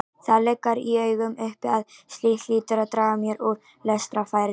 Það liggur í augum uppi að slíkt hlýtur að draga mjög úr lestrarfærni.